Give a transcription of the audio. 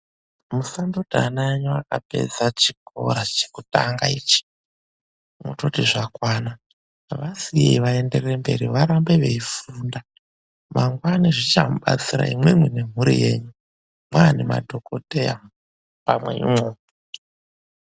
MUSANDOTI ANA ENYU AKAPEDZA CHIKORA CHEKUTANGA ICHI MOTOTI ZVAKWANA. VASIYEI VAENDERERE MBERI VARAMBE VECHIFUNDA MANGWANA ZVICHAMUBATSIRA IMWIMWI NEMHURI YENYU MANGWANA ZVICHAMUBATSIRA IMWIMWI NEMHURI YENYU.MWAVA NEMADHOKODHEYA.